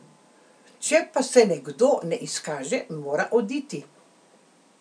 Če pa se nekdo ne izkaže, mora oditi.